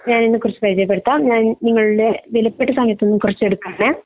ഞാൻ എന്നെ കുറിച് പരിചയപ്പെടുത്താം ഞാൻ നിങ്ങളുട എവില്പെട്ട സമയത്തുന് കുറച്ച എടുക്കുകയാണ്